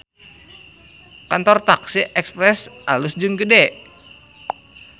Kantor taksi Express alus jeung gede